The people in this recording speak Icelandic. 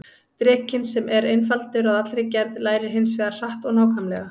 Drekinn, sem er einfaldur að allri gerð, lærir hins vegar hratt og nákvæmlega.